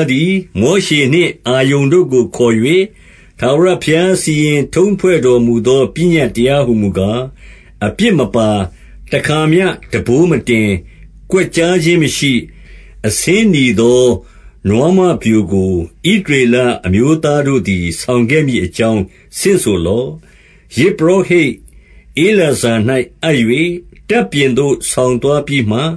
းသည် မောရှေနှင့် အာရုန် တို့ကို ခေါ်၍ ထာဝရဘုရား စီရင်ထုံးဖွဲ့တော်မူသော ပညတ်တရားဟူမူကား၊ 2 အပြစ်မပါ၊ တခါမျှ ထမ်းဘိုးမတင်၊ ကွက်ကျား ခြင်းမရှိ၊ အဆင်းနီသော နွားမပျိုကို၊ ဣသရေလအမျိုး သားတို့သည် ဆောင်ခဲ့မည်အကြောင်း ဆင့်ဆိုလော့။ 3 ယဇ်ပုရောဟိတ်ဧလာဇာ၌ အပ်၍ တပ်ပြင်သို့ ဆောင်သွားပြီးမှ၊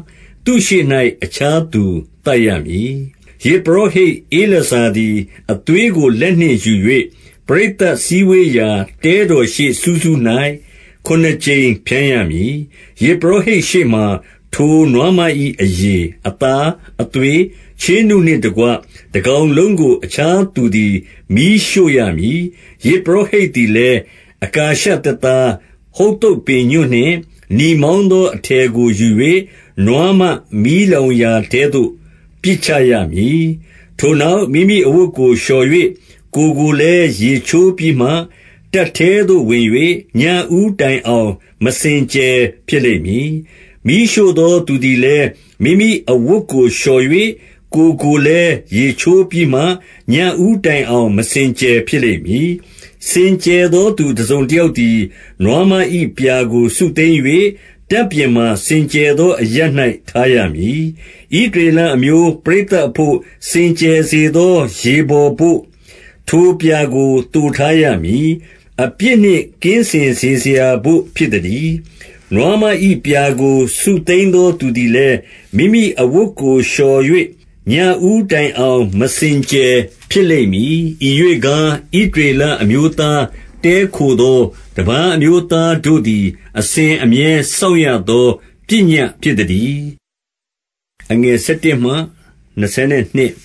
သူ့ရှေ့၌ အခြားသူ သတ်ရမည်။ 4 ယဇ်ပုရောဟိတ်ဧလာဇာသည် အသွေးကို လက် နှင့်ယူ၍ ပရိသတ်စည်းဝေးရာ တဲတော်ရှေ့စူးစူး၌ ခုနစ် ကြိမ် ဖြန်းရမည်။ 5 ယဇ်ပုရောဟိတ်ရှေ့မှာ ထိုနွားမ၏ အရေ၊ အသား၊ အသွေး၊ ချေးနုနှင့်တကွ တကောင်လုံးကို အခြား သူသည် မီးရှို့ရမည်။ 6 ယဇ်ပုရောဟိတ်သည်လည်း အကာရှသစ်သား၊ ဟုဿုပ်ပင်ညွန့်နှင့် နီမောင်းသော အထည်ကို ယူ၍၊ နွားမ မီးလောင်ရာထဲသို့ ပစ်ချရမည်။ 7 ထိုနောက် မိမိအဝတ်ကို လျှော်၍ ကိုယ်ကို လည်း ရေချိုးပြီးမှ၊ တပ်ထဲသို့ဝင်၍ ညဦးတိုင်အောင် မစင်ကြယ်ဖြစ်လိမ့်မည်။ 8 မီးရှို့သော သူသည်လည်း၊ မိမိအဝတ်ကို လျှော် ၍ ကိုယ်ကိုလည်း ရေချိုးပြီးမှ၊ ညဦးတိုင်အောင် မစင် ကြယ် ဖြစ်လိမ့်မည်။ 9 စင်ကြယ်သောသူ တစုံတယောက်သည် နွားမ၏ ပြာကို စုသိမ်း၍၊ တပ်ပြင်မှာ စင်ကြယ်သော အရပ်၌ ထားရမည်။ ဣသရေလအမျိုး ပရိသတ်အဘို့ စင်ကြယ် စေသော ရေဘော်ဘို့၊ ထိုပြာကို သိုထားရမည်။ အပြစ်နှင့် ကင်းစင်စေစရာဘို့ဖြစ်သတည်း။ 10 နွားမ၏ပြာကို စုသိမ်းသောသူသည်လည်း၊ မိမိ အဝတ်ကိုလျှော်၍ ညဦးတိုင်အောင် မစင်ကြယ် ဖြစ်လိမ့် မည်။ ဤရွေ့ကား၊ ဣသရေလအမျိုးသား၊ တည်းခိုသော တပါးအမျိုးသားတို့သည် အစဉ်အမြဲ စောင့်ရသော ပညတ်ဖြစ်သတည်း။ 11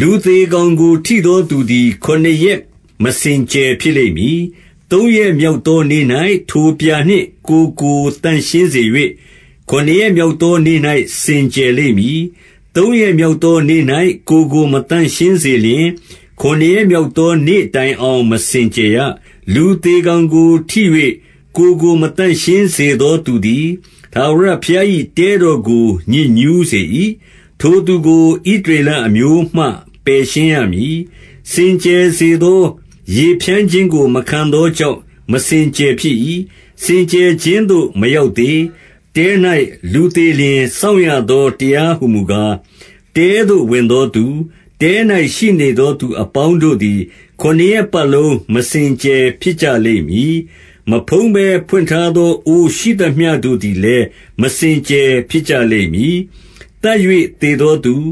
လူသေကောင်ကို ထိသောသူသည် ခုနစ်ရက် မစင်ကြယ်ဖြစ်လိမ့်မည်။ 12 သုံးရက်မြောက်သောနေ့၌ ထိုပြာနှင့် ကိုယ်ကို သန့်ရှင်းစေ၍၊ ခုနစ်ရက်မြောက်သောနေ့၌ စင်ကြယ်လိမ့် မည်။ သုံးရက်မြောက်သောနေ့၌ ကိုယ်ကို မသန့်ရှင်းစေ လျှင်၊ ခုနစ်ရက်မြောက်သောနေ့တိုင်အောင် မစင် ကြယ်ရ။ 13 လူသေကောင်ကိုထိ၍ ကိုယ်ကို မသန့်ရှင်းစေ သောသူသည်၊ ထာဝရဘုရား၏ တဲတော်ကို ညစ်ညူးစေ ၏။ ထိုသူကို ဣသရေလအမျိုးမှ ပယ်ရှင်းရမည်။ စင် ကြယ်စေသောရေဖြန်းခြင်းကို မခံသောကြောင့် မစင် ကြယ်ဖြစ်၏။ စင်ကြယ်ခြင်းသို့ မရောက်သေး။ 14 တဲ၌လူသေလျှင် စောင့်ရသောတရားဟူမူကား၊ တဲသို့ဝင်သောသူ၊ တဲ၌ရှိနေသောသူအပေါင်းတို့သည် ခုနစ်ရက်ပတ်လုံး မစင်ကြယ်ဖြစ်ကြလိမ့်မည်။ 15 မဖုံးဘဲ ဖွင့်ထားသောအိုးရှိသမျှတို့သည်လည်း မစင်ကြယ်ဖြစ်ကြလိမ့်မည်။ 16 သတ်၍သေသောသူ၊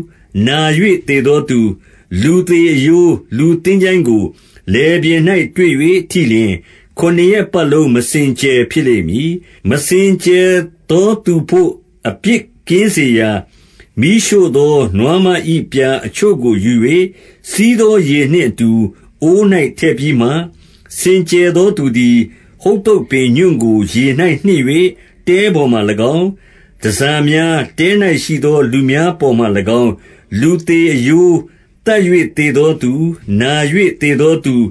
နာ၍သေသောသူ၊ လူသေ အရိုး၊ လူသင်္ချိုင်းကို လယ်ပြင်၌ တွေ့၍ထိလျှင်၊ ခုနစ်ရက် ပတ်လုံး မစင်ကြယ်ဖြစ်လိမ့်မည်။ 17 မစင်ကြယ်သောသူဘို့ အပြစ်ကင်းစေရာ မီးရှို့ သောနွားမ၏ပြာအချို့ကို ယူ၍၊ စီးသောရေနှင့်အတူ အိုး၌ထည့်ပြီးမှ၊ 18 စင်ကြယ်သောသူသည်၊ ဟုဿုပ်ပင်ညွန့်ကို ရေ၌နှစ်၍ တဲပေါ်မှာ၎င်း၊ တန်ဆာများ၊ တဲ၌ရှိသော လူများပေါ်မှာ၎င်း၊ လူသေအရိုး၊ သတ်၍သေသောသူ၊ နာ၍သေသောသူ၊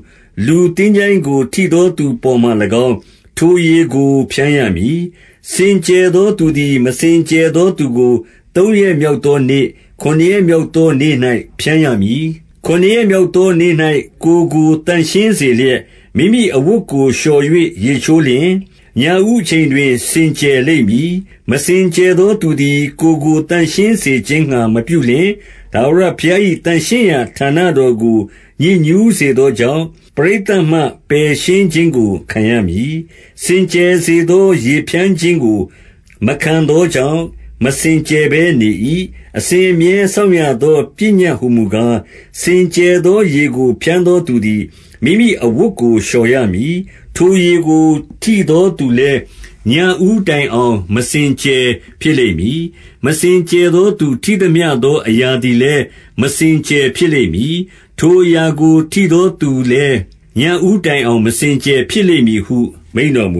လူသင်္ချိုင်းကို ထိသောသူပေါ်မှာ၎င်း၊ ထိုရေကို ဖြန်းရမည်။ 19 စင်ကြယ်သောသူသည် မစင်ကြယ်သောသူကို သုံးရက်မြောက်သောနေ့၊ ခုနစ်ရက်မြောက်သောနေ့၌ ဖြန်းရ မည်။ ခုနစ်ရက်မြောက်သောနေ့၌ ကိုယ်ကို သန့်ရှင်းစေ လျက်၊ မိမိအဝတ်ကို လျှော်၍ ရေချိုးလျှင်၊ ညဦးအချိန် တွင် စင်ကြယ်လိမ့်မည်။ 20 မစင်ကြယ်သောသူသည် ကိုယ်ကို သန့်ရှင်း စေခြင်းငှါမပြုလျှင်၊ ထာဝရဘုရား၏ သန့်ရှင်းရာဌာန တော်ကို ညစ်ညူးစေသောကြောင့်၊ ပရိသတ်မှ ပယ်ရှင်း ခြင်းကို ခံရမည်။ စင်ကြယ်စေသော ရေဖြန်းခြင်းကို မခံသောကြောင့်၊ မစင်ကြယ်ဘဲနေ၏။ 21 အစဉ်အမြဲစောင့်ရသော ပညတ်ဟူမူကား၊ စင်ကြယ်သော ရေကို ဖြန်းသောသူသည် မိမိအဝတ်ကို လျှော်ရမည်။ ထိုရေကို ထိသောသူလည်း၊ ညဦးတိုင် အောင် မစင်ကြယ်ဖြစ်လိမ့်မည်။ 22 မစင်ကြယ်သောသူ ထိသမျှသော အရာသည် လည်း မစင်ကြယ်ဖြစ်လိမ့်မည်။ ထိုအရာကို ထိသောသူ လည်း ညဦးတိုင်အောင် မစင်ကြယ်ဖြစ်လိမ့်မည်ဟု မိန့်တော်မူ